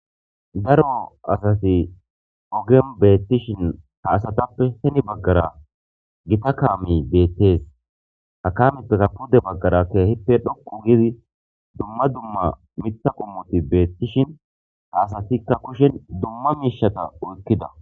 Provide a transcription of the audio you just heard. daro asati ogen beettishin ha asatappe heni baggara gita kaami beettees ha kamitakka pudde baggarakkeehippe dhoqu gidi dumma dumma mitha qummuti beettishin ha asatikka kushen dumma miishata oykkida